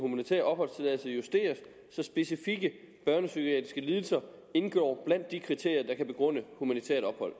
humanitær opholdstilladelse justeres så specifikke børnepsykiatriske lidelser indgår blandt de kriterier der kan begrunde humanitært ophold